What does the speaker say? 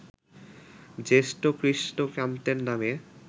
জ্যেষ্ঠ কৃষ্ণকান্তের নামে